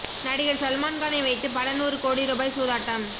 நடிகர் சல்மான் கானை வைத்து பல நூறு கோடி ரூபாய் சூதாட்டம்